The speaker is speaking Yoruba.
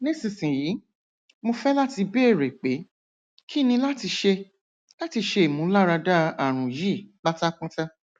nisisiyi mo fẹ lati beere pe kini lati ṣe lati ṣe imularada arun yii patapata